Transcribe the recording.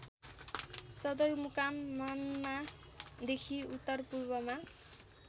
सदरमुकाम मान्मादेखि उत्तरपूर्वमा